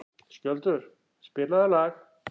Skjöldur, spilaðu lag.